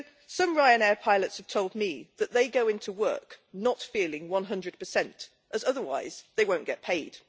Some Ryanair pilots have told me that they go into work not feeling 100, as otherwise they won't get paid.